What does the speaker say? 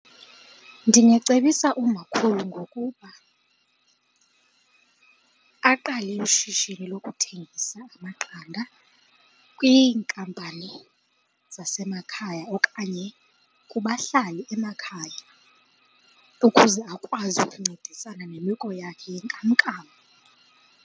Ndingacebisa umakhulu ngokuba aqale ishishini lokuthengisa amaqanda kwinkampani zasemakhaya okanye kubahlali emakhaya ukuze akwazi ukuncedisana nemeko yakhe yenkamnkam.